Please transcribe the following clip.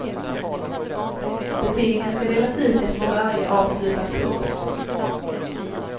Betygen ska delas ut efter varje avslutad kurs.